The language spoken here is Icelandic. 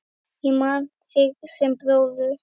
Ég man þig sem bróður.